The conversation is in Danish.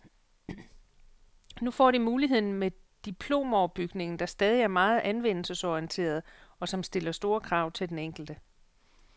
Nu får de muligheden med diplomoverbygningen, der stadig er meget anvendelsesorienteret, og som stiller store krav til den enkelte.